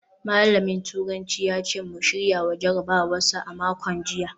Malamin turanci ya ce mu shirya jarabawar sa a makon jiya